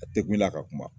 A tɛ kun la ka kuma